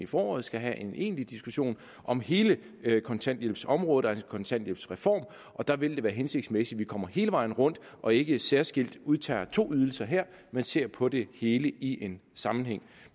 foråret skal have en egentlig diskussion om hele kontanthjælpsområdet altså en kontanthjælpsreform og der vil det være hensigtsmæssigt at man kommer hele vejen rundt og ikke særskilt udtager to ydelser her men ser på det hele i en sammenhæng